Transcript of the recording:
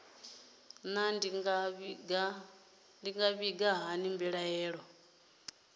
naa ndi nga vhiga hani mbilaelo